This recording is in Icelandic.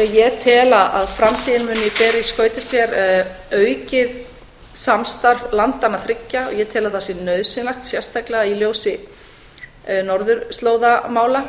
ég tel að framtíðin muni bera í skauti sér aukið samstarf landanna þriggja og ég tel að það sé nauðsynlegt sérstaklega í ljósi norðurslóðamála